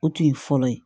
O tun ye fɔlɔ ye